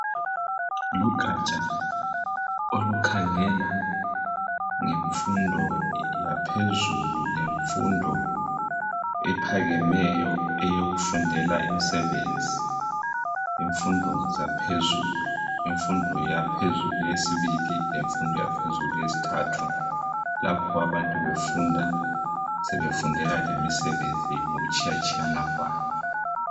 Lugatsha olukhangela ngemfundo yaphezulu lemfundo ephakemeyo eyokufundela imsebenzi , imfundo zaphezulu, imfundo yaphezulu eyesibili lemfundo yesithathu lapho abantu befunda sebefundela lemsebenzi ngokutshiyatshiyana kwayo